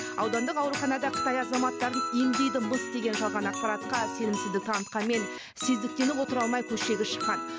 аудандық ауруханада қытай азаматтарын емдейді мыс деген жалған ақпаратқа сенімсіздік танытқанымен сездіктеніп отыра алмай көшеге шыққан